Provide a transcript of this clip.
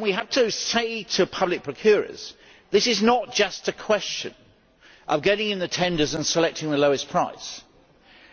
We have to say to public procurers that this is not just a question of getting in the tenders and selecting the lowest price,